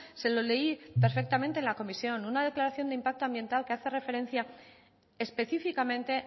se lo leí perfectamente en la comisión una declaración de impacto ambiental que hace referencia específicamente